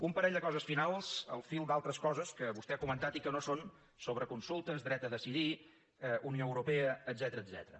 un parell de coses finals al fil d’altres coses que vostè ha comentat i que no són sobre consultes dret a decidir unió europea etcètera